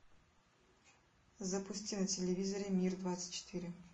запусти на телевизоре мир двадцать четыре